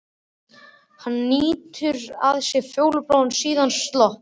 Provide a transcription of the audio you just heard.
Hún hnýtir að sér fjólubláan, síðan slopp.